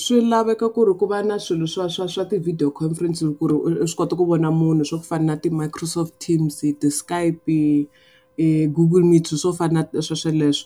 Swi laveka ku ri ku va na swilo swa swa swa ti-video conference hi ku ri u swi kota ku vona munhu swa ku fana na ti-microsoft teams, ti-skipe, Google meets swilo swo fana na sweswo leswo.